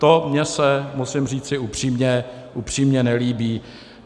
To se mi, musím říci upřímně, upřímně nelíbí.